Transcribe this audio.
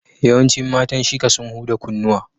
Yawancin matan Shika sun huda kunnuwa.